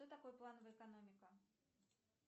что такое плановая экономика